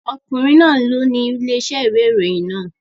Ọkùnrin náà ni ó ni ilé-iṣẹ́ ìwé ìròyìn náà.